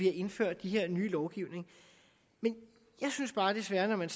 har indført de her nye lovgivninger men jeg synes bare desværre at